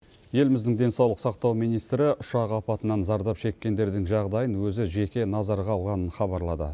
еліміздің денсаулық сақтау министрі ұшақ апатынан зардап шеккендердің жағдайын өзі жеке назарға алғанын хабарлады